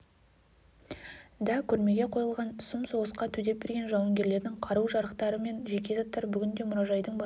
да көрмеге қойылған сұм соғысқа төтеп берген жуынгерлердің қару-жарақтары мен жеке заттары бүгінде мұражайдың басты